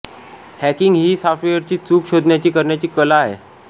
hacking ही सॉफ्टवेअरची चूक शोधण्याची करण्याची कला आहे